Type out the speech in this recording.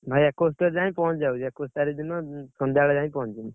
ଭାଇ ଏକୋଇଶ ତାରିଖ୍ ଯାଇ ପହଞ୍ଚିଯାଉଛି, ଏକୋଇଶି ତାରିଖ୍ ଦିନ, ସନ୍ଧ୍ୟାବେଳେ ଯାଇ ପହଞ୍ଚିଯିବି।